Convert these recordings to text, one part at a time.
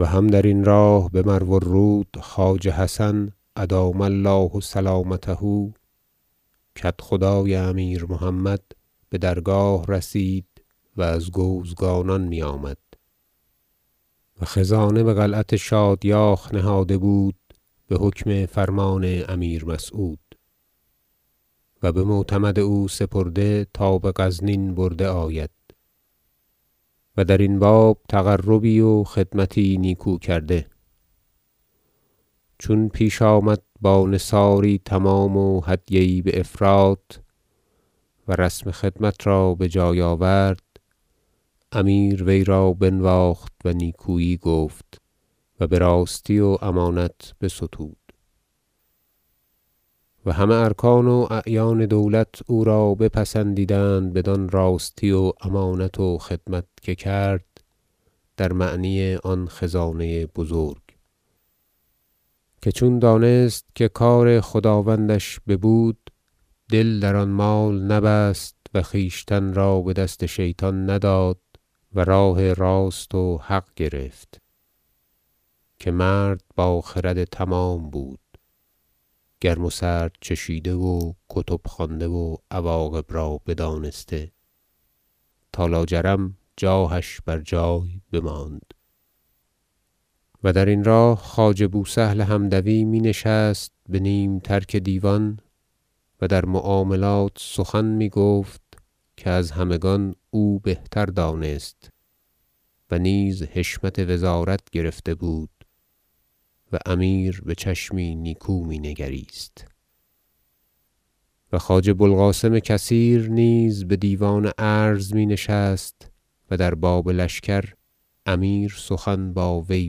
و هم درین راه به مروالرود خواجه حسن ادام الله سلامته کدخدای امیر محمد بدرگاه رسید و از گوزگانان میآمد و خزانه بقلعت شادیاخ نهاده بود بحکم فرمان امیر مسعود و به معتمد او سپرده تا به غزنین برده آید و درین باب تقربی و خدمتی نیکو کرده چون پیش آمد با نثاری تمام و هدیه یی بافراط و رسم خدمت را بجای آورد امیر وی را بنواخت و نیکویی گفت و براستی و امانت بستود و همه ارکان و اعیان دولت او را بپسندیدند بدان راستی و امانت و خدمت که کرد در معنی آن خزانه بزرگ که چون دانست که کار خداوندش ببود دل در آن مال نبست و خویشتن را بدست شیطان نداد و راه راست و حق گرفت که مرد با خرد تمام بود گرم و سرد چشیده و کتب خوانده و عواقب را بدانسته تا لاجرم جاهش بر جای بماند و درین راه خواجه بوسهل حمدوی می نشست به نیم ترک دیوان و در معاملات سخن میگفت که از همگان او بهتر دانست و نیز حشمت وزارت گرفته بود و امیر وی را به چشمی نیکو می نگریست و خواجه بوالقاسم کثیر نیز بدیوان عرض می نشست و در باب لشکر امیر سخن با وی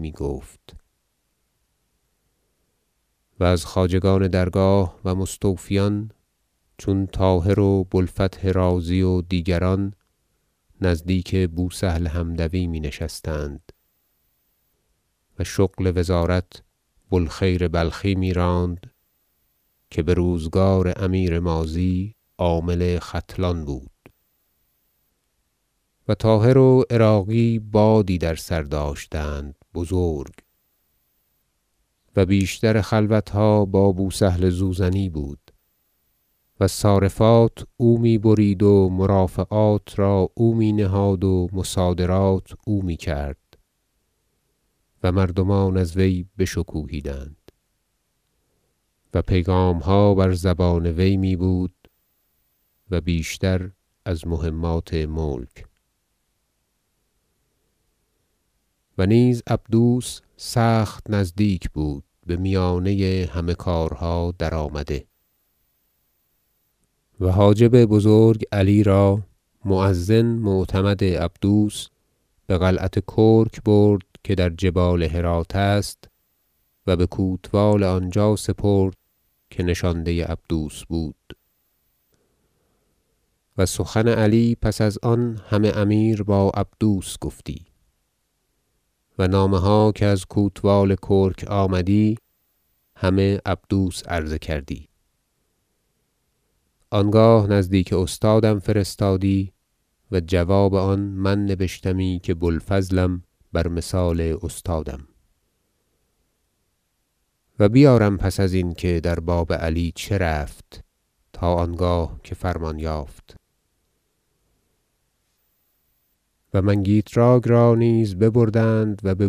میگفت و از خواجگان درگاه و مستوفیان چون طاهر و بوالفتح رازی و دیگران نزدیک بوسهل حمدوی می نشستند و شغل وزارت بوالخیر بلخی میراند که بروزگار امیر ماضی عامل ختلان بود و طاهر و عراقی بادی در سر داشتند بزرگ و بیشتر خلوتها با بوسهل زوزنی بود و صارفات او می برید و مرافعات را او می نهاد و مصادرات او میکرد و مردمان از وی بشکوهیدند و پیغامها بر زبان وی می بود و بیشتر از مهمات ملک و نیز عبدوس سخت نزدیک بود بمیانه همه کارها درآمده و حاجب بزرگ علی را مؤذن معتمد عبدوس بقلعت کرک برد که در جبال هرات است و بکوتوال آنجا سپرد که نشانده عبدوس بود و سخن علی پس از آن همه امیر با عبدوس گفتی و نامه ها که از کوتوال کرک آمدی همه عبدوس عرضه کردی آنگاه نزدیک استادم فرستادی و جواب آن من نبشتمی که بوالفضلم بر مثال استادم و بیارم پس ازین که در باب علی چه رفت تا آنگاه که فرمان یافت و منگیتراک را نیز ببردند و به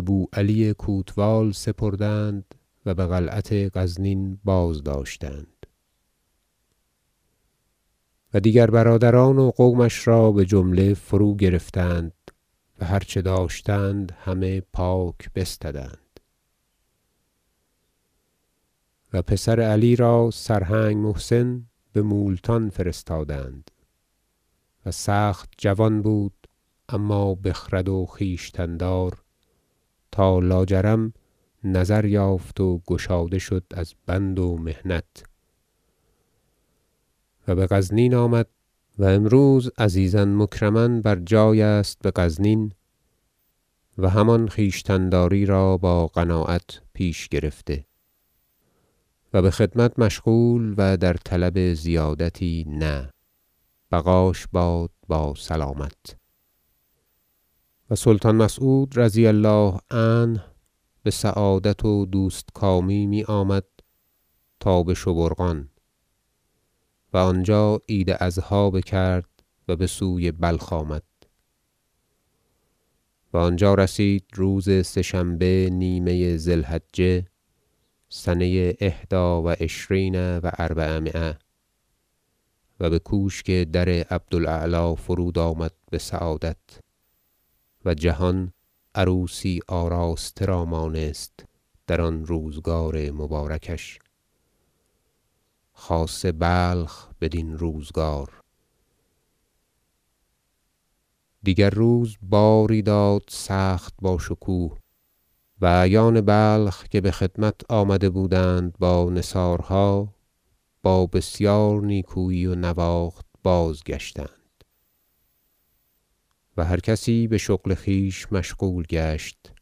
بوعلی کوتوال سپردند و بقلعت غزنین بازداشتند و دیگر برادران و قومش را بجمله فروگرفتند و هر چه داشتند همه پاک بستدند و پسر علی را سرهنگ محسن بمولتان فرستادند و سخت جوان بود اما بخرد و خویشتن دار تا لاجرم نظر یافت و گشاده شد از بند و محنت و بغزنین آمد و امروز عزیزا مکرما بر جای است بغزنین و همان خویشتن داری را با قناعت پیش گرفته و بخدمت مشغول و در طلب زیادتی نه بقاش باد با سلامت و سلطان مسعود رضی الله عنه بسعادت و دوستکامی میآمد تا به شبورقان و آنجا عید اضحی بکرد و بسوی بلخ آمد و آنجا رسید روز سه شنبه نیمه ذی الحجه سنه احدی و عشرین و اربعمایه و به کوشک در عبدالاعلی فرودآمد بسعادت و جهان عروسی آراسته را مانست در آن روزگار مبارکش خاصه بلخ بدین روزگار دیگر روز باری داد سخت با شکوه و اعیان بلخ که بخدمت آمده بودند با نثارها با بسیار نیکویی و نواخت بازگشتند و هر کسی بشغل خویش مشغول گشت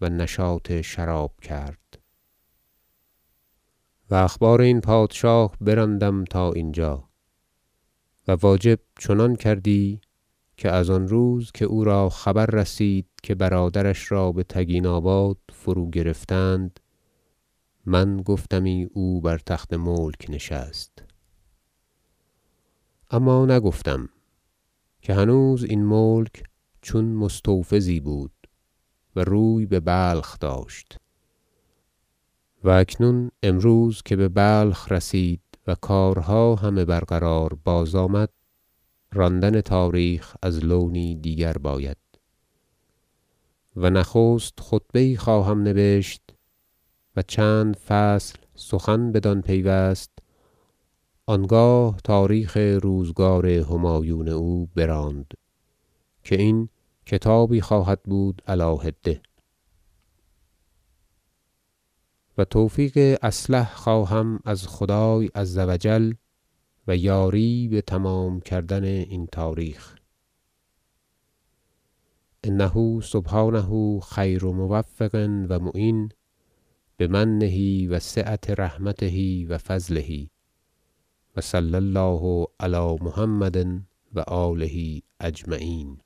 و نشاط شراب کرد و اخبار این پادشاه براندم تا اینجا و واجب چنان کردی که از آن روز که او را خبر رسید که برادرش را بتگیناباد فروگرفتند من گفتمی او بر تخت ملک نشست اما نگفتم که هنوز این ملک چون مستوفزی بود و روی ببلخ داشت و اکنون امروز که ببلخ رسید و کارها همه برقرار بازآمد راندن تاریخ از لونی دیگر باید و نخست خطبه یی خواهم نبشت و چند فصل سخن بدان پیوست آنگاه تاریخ روزگار همایون او براند که این کتابی خواهد بود علی حده و توفیق اصلح خواهم از خدای عزوجل و یاری بتمام کردن این تاریخ انه سبحانه خیر موفق و معین بمنه و سعة رحمته و فضله و صلی الله علی محمد و آله اجمعین